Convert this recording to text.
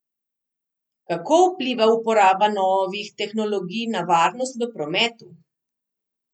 Kako vpliva uporaba novih tehnologij na varnost v prometu?